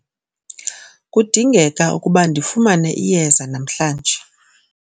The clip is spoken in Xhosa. kudingeka ukuba ndifumane iyeza namhlanje